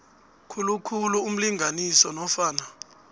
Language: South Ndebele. khulukhulu umlingani nofana